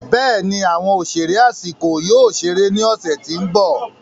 Bẹẹni, awọn oṣere Ashiko yoo ṣere ni ọsẹ ti n bọ.